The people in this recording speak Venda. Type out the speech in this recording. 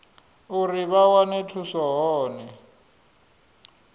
uri vha wane thuso hone